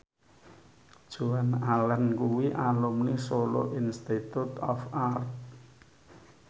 Joan Allen kuwi alumni Solo Institute of Art